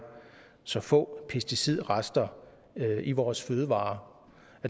så få pesticidrester i vores fødevarer